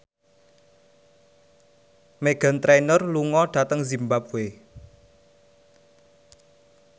Meghan Trainor lunga dhateng zimbabwe